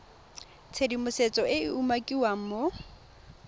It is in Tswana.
tshedimosetso e e umakiwang mo